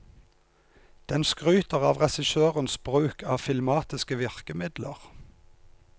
Den skryter av regissørens bruk av filmatiske virkemidler.